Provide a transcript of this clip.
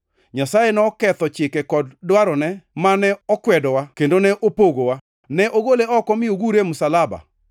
Nyasaye noketho chike kod dwarone mane okwedowa kendo ne opogowa. Ne ogole oko mi ogure e msalaba.